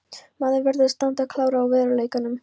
Maður verður að standa klár á veruleikanum.